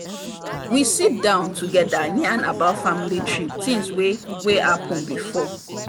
we sit down together yarn about family trip tings wey wey happen before.